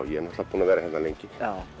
ég er náttúrulega búinn að vera hérna lengi